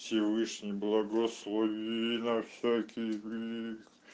всевышний благослови на всякий